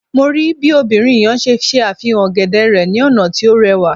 Mo rii bi obinrin yẹn ṣe ṣe afihan ogede rẹ ni ọna ti o rẹwa